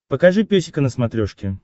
покажи песика на смотрешке